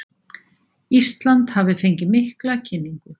Ísland hafi fengið mikla kynningu